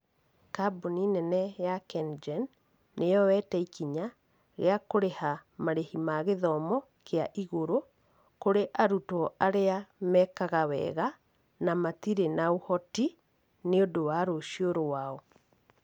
Kambuni nene ya KenGen, nĩyoyete ikinya rĩa kũrĩha marĩhi ma gĩthomo kĩa igũrũ, kũrĩ arutwo arĩa mekaga wega, na matirĩ na ũhoti, nĩ ũndũ wa rũciũ rwao.